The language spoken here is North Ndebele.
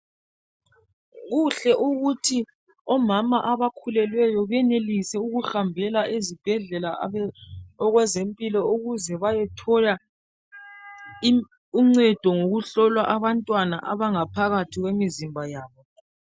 Kuhle ukuthi omama abakhulelweyo benelise ukuhambela ezibhedlela okwezempilo ukuze bayethola uncedo ngokuhlolwa abantwana abangaphakathi kwemizimba yabo.